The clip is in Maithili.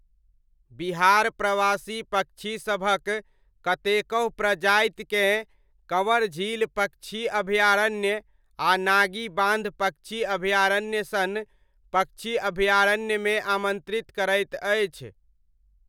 बिहार प्रवासी पक्षीसभक कतेकहु प्रजातिकेँ कँवर झील पक्षी अभयारण्य आ नागी बान्ध पक्षी अभयारण्य सन पक्षी अभयारण्यमे आमन्त्रित करैत अछि।